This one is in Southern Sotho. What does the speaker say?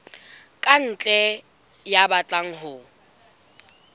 ka ntle ya batlang ho